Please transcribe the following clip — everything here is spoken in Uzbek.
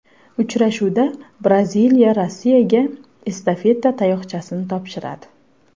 Uchrashuvda Braziliya Rossiyaga estafeta tayoqchasini topshiradi.